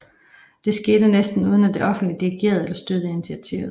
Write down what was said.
Det skete næsten uden at det offentlige dirigerede eller støttede initiativet